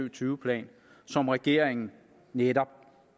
og tyve plan som regeringen netop